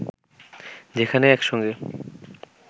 যেখানে একসঙ্গে